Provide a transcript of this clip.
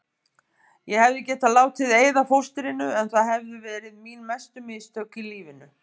Ég hefði getað látið eyða fóstrinu en það hefðu verið mín mestu mistök í lífinu.